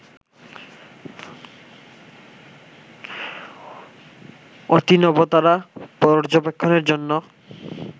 অতিনবতারা পর্যবেক্ষণের জন্য